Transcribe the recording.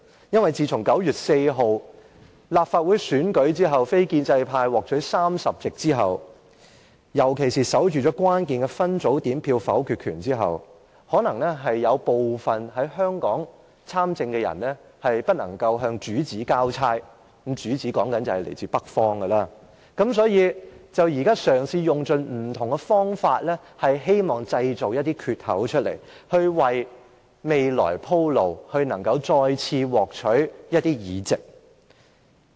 因為自從9月4日立法會選舉非建制派獲取30席，尤其是守緊了關鍵的分組點票的否決權後，有部分在香港參政的人可能未能向主子交差——我說的主子是來自北方的——所以便嘗試用盡不同方法，希望製造一些缺口，為未來鋪路，以便再次獲取一些議席。